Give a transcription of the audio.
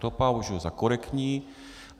To považuji za korektní.